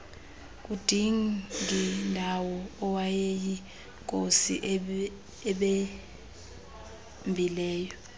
kudingindawo owayeyinkosi ebambileyo